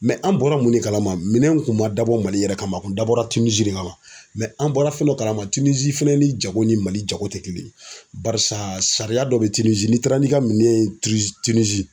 an bɔra mun de kalama, minɛn in kun ma dabɔ Mali yɛrɛ kama a kun dabɔra Tinizi de kama an bɔra fɛn dɔ kalama Tinizi fɛnɛ ni jago ni Mali jago tɛ kelen ye .Barisa sariya dɔ be Tinizi, n'i taara ni ka minɛn ye